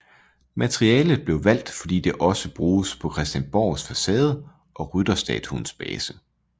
Materialet blev valgt fordi det også bruges på Christiansborgs facade og rytterstatuens base